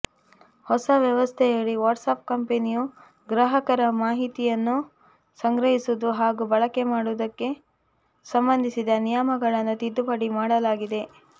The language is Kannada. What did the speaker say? ಹೊಸ ವ್ಯವಸ್ಥೆಯಡಿ ವಾಟ್ಸಾಪ್ ಕಂಪನಿಯು ಗ್ರಾಹಕರ ಮಾಹಿತಿಯನ್ನು ಸಂಗ್ರಹಿಸುವುದು ಹಾಗೂ ಬಳಕೆ ಮಾಡುವುದಕ್ಕೆ ಸಂಬಂಧಿಸಿದ ನಿಯಮಗಳನ್ನು ತಿದ್ದುಪಡಿ ಮಾಡಲಾಗಿದೆ